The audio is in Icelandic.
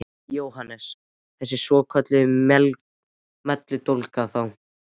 Jóhannes: Þessa svokölluðu melludólga þá?